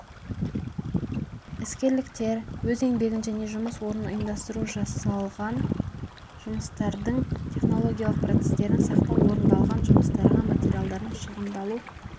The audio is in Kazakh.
іскерліктер өз еңбегін және жұмыс орнын ұйымдастыру жасалынған жұмыстардың технологиялық процестерін сақтау орындалған жұмыстарға материалдардың шығындалу